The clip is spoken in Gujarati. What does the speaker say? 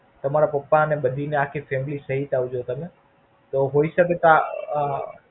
તમારા પપ્પા અને અને આખી બધી Family થઈ ને જ આવજો તમે તો હોય શકે કા આ?